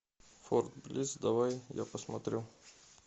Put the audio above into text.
форт блисс давай я посмотрю